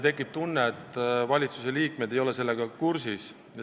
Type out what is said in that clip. Tekib tunne, et valitsuse liikmed ei ole asjaga kursis.